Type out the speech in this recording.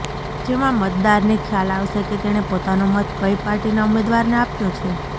જેમાં મતદારને ખ્યાલ આવશે કે તેણે પોતાનો મત કઈ પાર્ટીના ઉમેદવારને આપ્યો છે